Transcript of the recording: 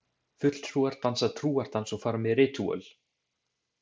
Fulltrúar dansa trúardans og fara með ritúöl.